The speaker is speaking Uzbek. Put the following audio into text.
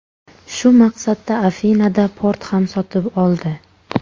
Shu maqsadda Afinada port ham sotib oldi.